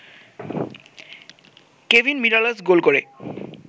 Kevin Mirallas goal করে